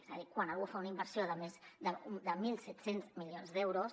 és a dir quan algú fa una inversió de més de mil set cents milions d’euros